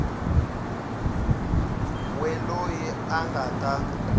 we loyi a nga ta